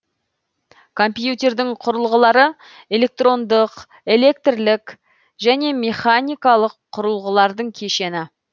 компьютердің құрылғылары электрондық электрлік және механикалық құрылғылардың кешені